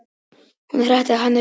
Hún hrakti hana burt.